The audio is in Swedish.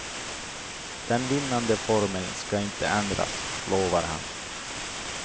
Den vinnande formeln ska inte ändras, lovar han.